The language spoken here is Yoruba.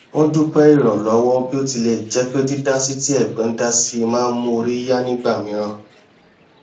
wọn dúpẹ ìrànlọwọ bí ó tilẹ jẹ pé dídásí tí ẹgbọn dá si má n mú orí yá nígbà mìíràn